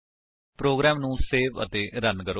programme ਨੂੰ save ਅਤੇ run ਕਰੋ